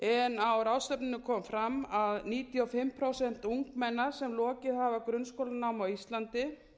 en á ráðstefnunni kom fram að um níutíu og fimm prósent ungmenna sem lokið hafa grunnskólanámi á íslandi